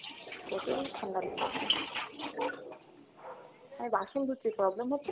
প্রচুর ঠাণ্ডা লেগেছে, আমি বাসন ধুচ্ছি problem হচ্ছে না তো?